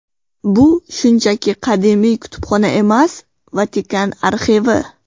Bu shunchaki qadimiy kutubxona emas, Vatikan arxivi!